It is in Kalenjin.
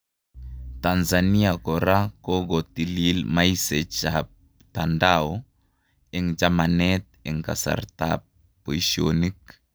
Tanzania kora kokotilil maisech ap tandao en jamanet en kasarta ap paishonik